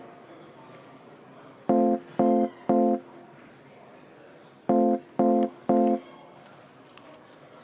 Tulen komisjoni lõppotsuste juurde.